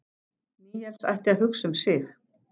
Níels ætti að hugsa um sig.